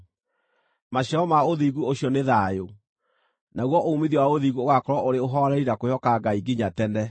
Maciaro ma ũthingu ũcio nĩ thayũ; naguo uumithio wa ũthingu ũgaakorwo ũrĩ ũhooreri na kwĩhoka Ngai nginya tene.